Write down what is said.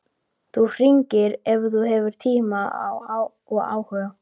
Þú hringir ef þú hefur tíma og áhuga.